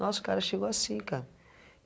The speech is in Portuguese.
Nossa, o cara chegou assim, cara.